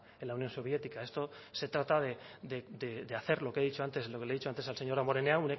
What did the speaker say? en la unión soviética esto se trata de hacer lo que he dicho antes lo que le he dicho antes al señor damborenea